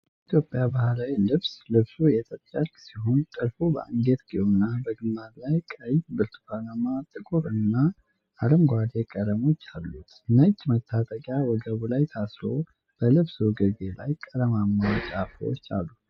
የኢትዮጵያ ባህላዊ ልብስ ። ልብሱ የጥጥ ጨርቅ ሲሆን፣ ጥልፍ በአንገትጌውና በግንባሩ ላይ ቀይ፣ ብርቱካናማ፣ ጥቁርና አረንጓዴ ቀለሞች አሉት። ነጭ መታጠቂያ ወገቡ ላይ ታስሮ በልብሱ ግርጌ ላይ ቀለማማ ጫፎች አሉ።